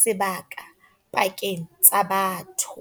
sebaka pakeng tsa batho.